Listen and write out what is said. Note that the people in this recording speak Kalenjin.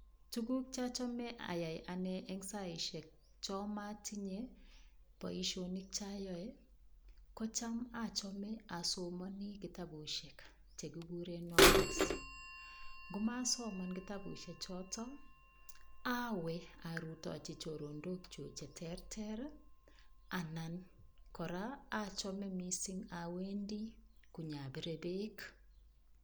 Tukukuk chachome ayai ane eng' saishek cho matinye boishonik chayoe kocham achome asomoni kitabushek chekikure novels ngumasoman kitabushechito awe arutochi chorondokchu cheterter anan kora achome mising' awendi konyapire berk